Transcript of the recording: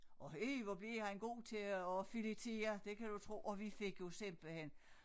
Og ih hvor blev han god til at filetere det kan du tro og vi fik jo simpelthen